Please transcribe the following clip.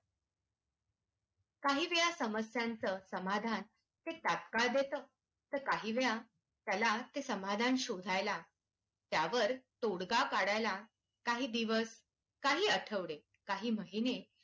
काही वेळा समस्यांचं समाधान ते तात्काळ देत तर काहीवेळा त्याला ते समाधान शोधायला त्यावर तोडगा काढाय ला काही दिवस काही आठवडे काही महिने